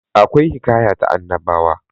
akwai hikaya ta annabawa